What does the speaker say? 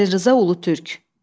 Xəlil Rza Ulutürk.